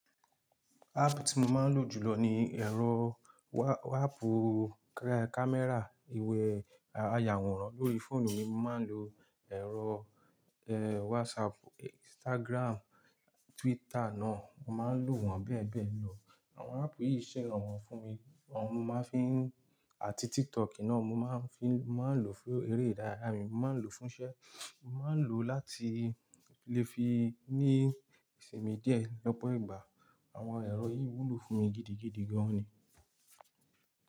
Áàpù tí mo máa ń lò jùlọ ni ẹ̀rọ wa-waapu ka-kámẹ́rà, ìwé, ayàwòrán lórí fóònù mi. Mo máa ń lo ẹ̀rọ, WhatsApp, Instagram, Twitter náà. Mo máa ń lò wọ́n bẹ́ẹ̀ bẹ́ẹ̀ lọ. Àwọn áàpù yìí ṣe rànwọ́ fún mi. Wọ́n mo máa ń fi, àti TikTok náà mo máa ń fi, mo máa ń lò fún eré ìdárayá mi, mo máa ń lò fún iṣẹ́, mo máa ń lò láti lè fi ní ìsinmi díẹ̀ lọ́pọ̀ ìgbà. Àwọn ẹ̀rọ yìí wúlò fún mi gidigidi gan ni.